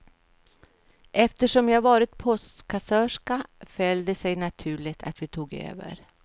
Eftersom jag varit postkassörska föll det sig naturligt att vi tog över.